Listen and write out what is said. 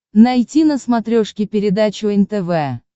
найти на смотрешке передачу нтв